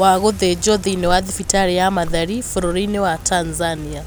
wa gũthĩnjwo thĩinĩ wa thibitarĩ ya Mathari bũrũri-inĩ wa Tanzania.